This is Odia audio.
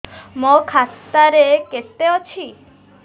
ମୋ ଖାତା ରେ କେତେ ଅଛି